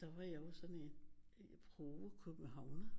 Der var jeg jo sådan en provo-københavner